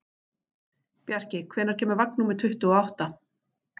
Bjarki, hvenær kemur vagn númer tuttugu og átta?